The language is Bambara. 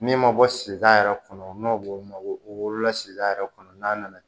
Min ma bɔ sida yɛrɛ kɔnɔ n'o b'o ma o wolola sida yɛrɛ kɔnɔ n'a nana